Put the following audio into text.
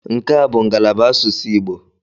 Nke a bụ ngalaba asụsụ Igbo.